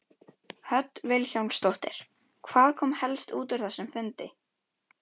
Hödd Vilhjálmsdóttir: Hvað kom helst út úr þessum fundi?